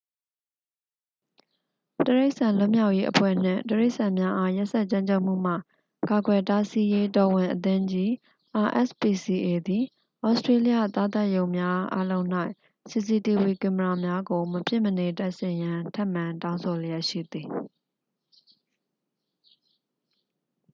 တိရိစ္ဆာန်လွတ်မြောက်ရေးအဖွဲ့နှင့် တိရိစ္ဆာန်များအား ရက်စက်ကြမ်းကြုတ်မှုမှ ကာကွယ်တားဆီးရေး တော်ဝင်အသင်းကြီး rspca သည် ဩစတေးလျသားသတ်ရုံများအားလုံး၌ စီစီတီဗွီ ကင်မရာများကို မဖြစ်မနေတပ်ဆင်ရန် ထပ်မံတောင်းဆိုလျက်ရှိသည်။